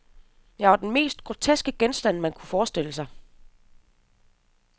Jeg var den mest groteske genstand, man kunne forestille sig.